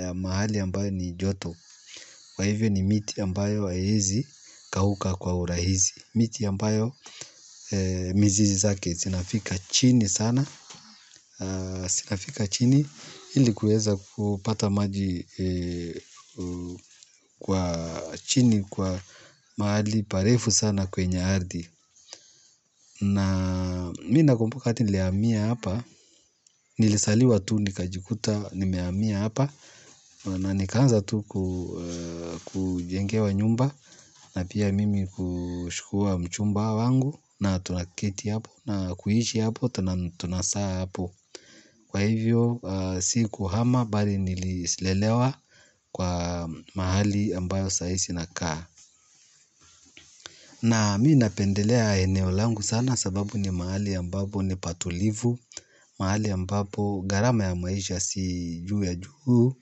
ya mahali ambayo ni joto. Kwa hivyo ni miti ambayo haiezi kauka kwa urahisi. Miti ambayo mizizi zake zinafika chini sana. Zinafika chini ili kuweza kupata maji kwa chini kwa mahali parefu sana kwenye ardhi. Na mi nakumbuka wakati nilihamia hapa nilizaliwa tu nikajikuta nimehamia hapa. Na nikaanza tu kujengewa nyumba na pia mimi kuchukua mchumba wangu na tunaketi hapo na kuishi hapo na tunazaa hapo. Kwa hivyo sikuhama bali nililelewa kwa mahali ambayo saizi nakaa. Na mi napendelea eneo langu sana sababu ni mahali ambapo ni patulivu. Mahali ambapo gharama ya maisha si juu ya juu.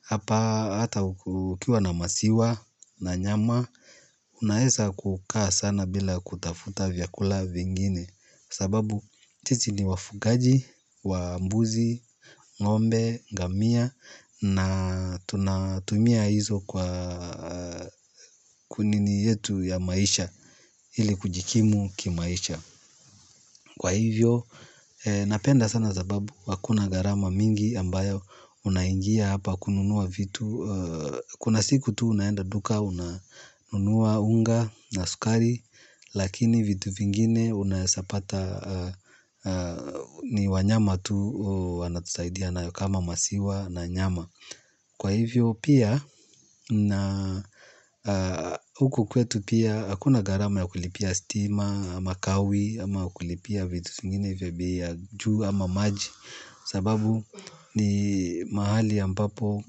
Hapa hata ukiwa na maziwa na nyama, unaweza kukaa sana bila kutafuta vyakula vingine, sababu sisi ni wafugaji wa mbuzi, ng'ombe, ngamia na tunatumia hizo kwa kunini yetu ya maisha ili kujikimu kimaisha. Kwa hivyo, napenda sana sababu, hakuna gharama mingi ambayo unaingia hapa kununua vitu. Kuna siku tu unaenda duka, unanunua unga na sukari, lakini vitu vingine unaeza pata ni wanyama tu wanatusaidia na kama maziwa na nyama. Kwa hivyo pia na huku kwetu pia hakuna gharama ya kulipia stima ama kawi ama kulipia vitu zingine vya bei ya juu ama maji. Sababu ni mahali ambapo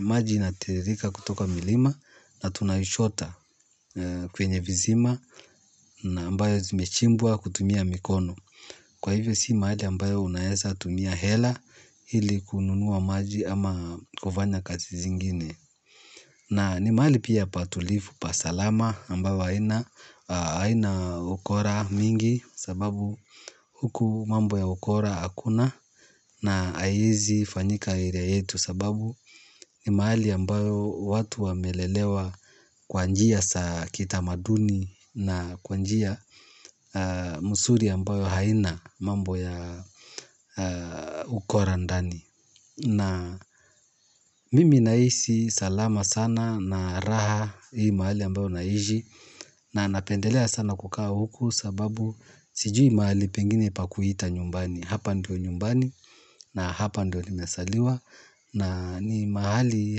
maji inatiririka kutoka mlima na tunaichota kwenye visima na ambayo zimechimbwa kutumia mikono. Kwa hivyo si mahali ambayo unaeza tumia hela ili kununua maji ama kufanya kazi zingine. Na ni mahali pia patulivu, pasalama ambayo haina ukora mingi sababu huku mambo ya ukora hakuna na haiezi fanyika area yetu sababu ni mahali ambayo watu wamelelewa kwa njia za kitamaduni na kwa njia mzuri ambayo haina. Mambo ya ukora ndani. Na mimi nahisi salama sana na raha hii mahali ambayo naishi. Na napendelea sana kukaa huku sababu sijui mahali pengine pa kuita nyumbani. Hapa ndio nyumbani na hapa ndio nimezaliwa na ni mahali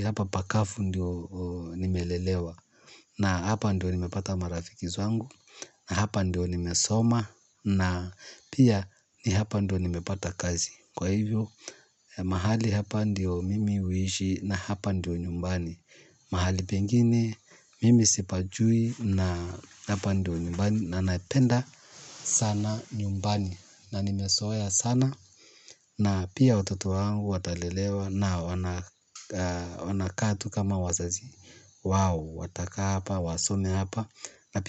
hapa pakavu ndio nimelelewa. Na hapa ndio nimepata marafiki zangu. Na hapa ndio nimesoma. Na pia ni hapa ndio nimepata kazi. Kwa hivyo mahali hapa ndio mimi huishi na hapa ndio nyumbani. Mahali pengine mimi sipajui na hapa ndio nyumbani. Na napenda sana nyumbani na nimezoea sana. Na pia watoto wangu watalelewa na wanakaa tu kama wazazi wao. Watakaa hapa wasome hapa na pi.